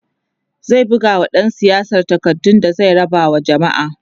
zai bugawa ɗan siyasar takardu da zai raba wa jamma'a